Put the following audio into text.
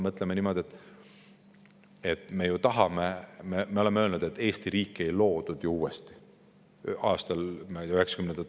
Mõtleme niimoodi, et me oleme öelnud, et Eesti riik ei loodud ju 1990-ndatel.